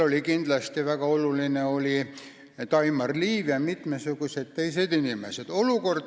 Kindlasti oli väga oluline Daimar Liiv ja olulised olid ka mitmed teised inimesed.